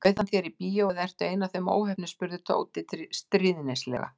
Bauð hann þér í bíó eða ertu ein af þeim óheppnu spurði Tóti stríðnislega.